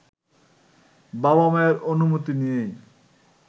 বাবা-মায়ের অনুমতি নিয়েই